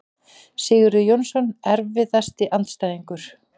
Sigurður Jónsson Erfiðasti andstæðingur?